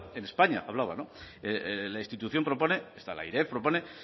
en españa hablaba no la institución propone la airef propone